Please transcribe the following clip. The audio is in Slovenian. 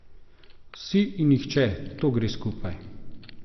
Vsi in nihče, to gre skupaj.